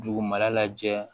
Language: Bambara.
Dugumana lajɛ